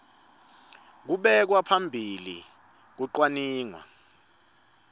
kubeka phambili kucwaningwa